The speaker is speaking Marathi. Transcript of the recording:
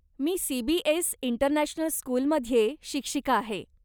मी सीबीएस इंटरनॅशनल स्कूलमध्ये शिक्षिका आहे.